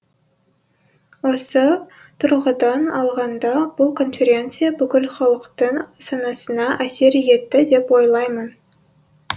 осы тұрғыдан алғанда бұл конференция бүкіл халықтың санасына әсер етті деп ойлаймын